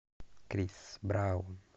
крис браун